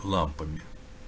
лампами